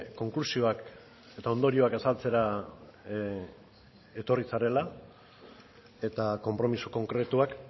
konklusioak eta ondorioak azaltzera etorri zarela eta konpromiso konkretuak